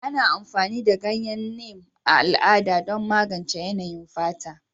Ana amfani da ganyen Neem a al'ada don magance yanayin fata,